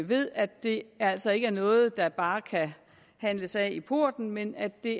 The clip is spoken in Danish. ved at det altså ikke er noget der bare kan handles af i porten men at det